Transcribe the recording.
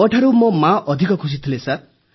ମୋଠୁ ମୋ ମା ଅଧିକ ଖୁସି ଥିଲେ ସାର୍